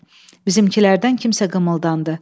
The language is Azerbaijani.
Bizimkilərdən kimsə qımıldandı.